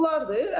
Bunlardır.